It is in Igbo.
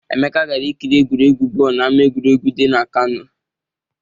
Emeka gara ikiri egwuregwu bọọlụ n'ama egwuregwu dị na Kano.